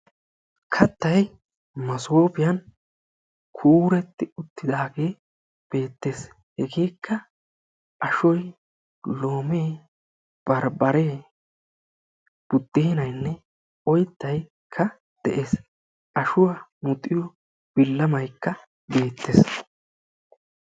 kattay masoofiyan kuuretti uttidaagee beetees. hegeekka ashoy, loomee, barbaree budeenay oytaykka beetees. ashuwa muxiyo bilamaykka beettees.